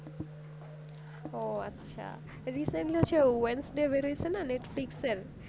ওহ আচ্ছা recently হচ্ছে Wednesday বের হয়েছে না Netflix এর